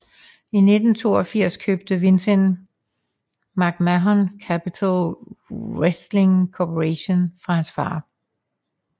I 1982 købte Vince McMahon Capitol Wrestling Corporation fra hans far